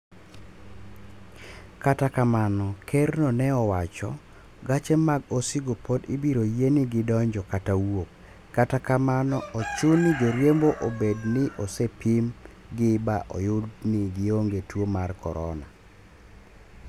Kata kamano, ker no ne owacho gache mag osigo pod ibiro yien gi donjo kata wuok, kata kamano ochuni ni joriembo obed ni osepim gi ba oyud ni gionge tuo mar corona